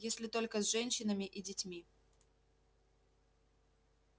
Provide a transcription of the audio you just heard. если только с женщинами и детьми